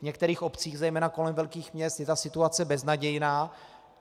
V některých obcích, zejména kolem velkých měst, je ta situace beznadějná.